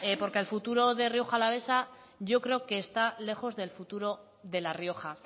porque el futuro de rioja alavesa yo creo que está lejos del futuro de la rioja